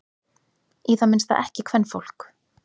Í það minnsta ekki kvenfólk.